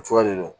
Fura de don